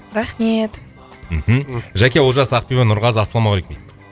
рахмет мхм жәке олжас ақбибі нұрғазы ассалаумағалейкум